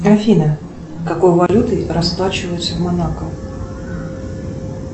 афина какой валютой расплачиваются в монако